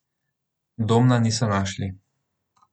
Domna niso našli.